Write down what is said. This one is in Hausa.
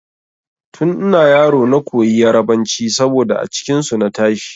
Tun ina yaro na koyi yarbanci saboda a cikin su na tashi.